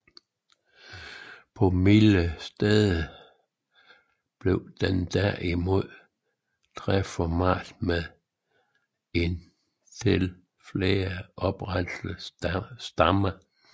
På mildere steder bliver den derimod træformet med en til flere oprette stammer